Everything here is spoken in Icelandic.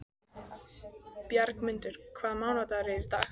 Bjargmundur, hvaða mánaðardagur er í dag?